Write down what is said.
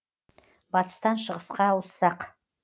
батыстан шығысқа ауыссақ